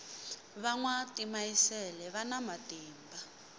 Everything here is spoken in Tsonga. va nwa timayisele vana matimba